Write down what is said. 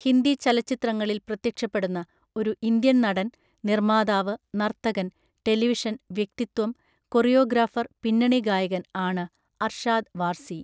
ഹിന്ദി ചലച്ചിത്രങ്ങളിൽ പ്രത്യക്ഷപ്പെടുന്ന ഒരു ഇന്ത്യൻ നടൻ, നിർമ്മാതാവ്, നർത്തകൻ, ടെലിവിഷൻ വ്യക്തിത്വം, കൊറിയോഗ്രാഫർ, പിന്നണി ഗായകൻ ആണ് അർഷാദ് വാർസി.